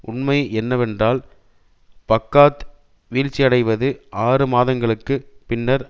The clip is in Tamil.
உண்மை என்னவென்றால் பாக்காத் வீழ்ச்சியடைவது ஆறு மாதங்களுக்கு பின்னர்